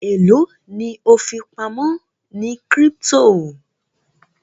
elo ni o fipamọ ní crypto?